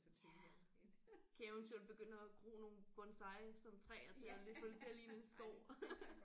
Ja kan eventuelt begynde at gro nogle bonsai sådan træer til at lige få det til at ligne en skov